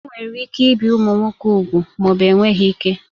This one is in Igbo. Enwere ike ibi ụmụ nwoke úgwù ma ọ bụ enweghị ike